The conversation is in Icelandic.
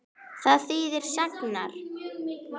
Hvað þýða sagnir?